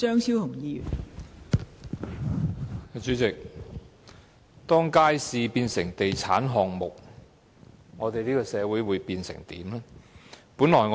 代理主席，當街市變成地產項目，我們的社會將變成怎樣呢？